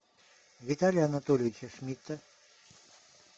виталия анатольевича шмидта